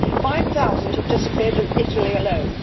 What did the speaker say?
5000 have disappeared Italy alone.